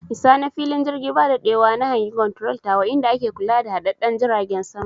I sa na fili jirgi ba daɗewa na hangi konturol tawa inda ake kula da hadahadan jiragen sama